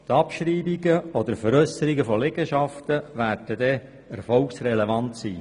Die Abschreibungen oder Veräusserungen von Liegenschaften werden aber erfolgsrelevant sein.